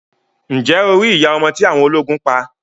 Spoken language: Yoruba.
Ǹjẹ́ o rí iya ọmọ tí awọn ọlógún pa?